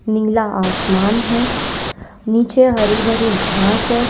नीला आसमान है नीचे हरी भरी घास है।